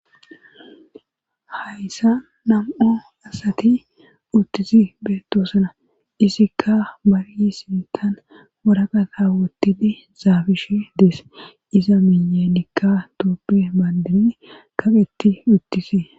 hayssa nam7o asati uttisi beettoosana isikka bariyi sintan woraqata wotini zaafish dees iza minye nikka tooppe baandirin kaqetti uttisi